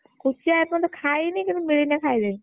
କୋଚିଆ ଏପର୍ଯ୍ୟନ୍ତ ଖାଇନି କିନ୍ତୁ ମିଳିଲେ ଖାଇଦେବି।